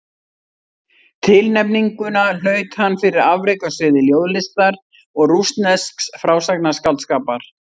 Tilnefninguna hlaut hann fyrir afrek á sviði ljóðlistar og rússnesks frásagnarskáldskapar.